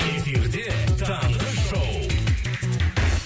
эфирде таңғы шоу